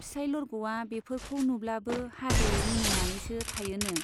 फिसाइ लरग'आ बेफोरखौ नुब्लाबो हादे मिनिनानैसो थायोनो।